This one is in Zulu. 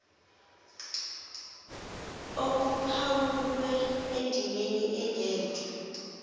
okuphawulwe endimeni engenhla